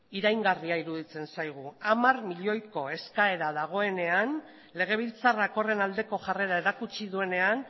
iraingarria iruditzen zaigu hamar milioiko eskaera dagoenean legebiltzarrak horren aldeko jarrera erakutsi duenean